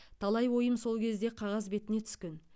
талай ойым сол кезде қағаз бетіне түскен